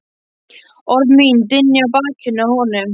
Orð mín dynja á bakinu á honum.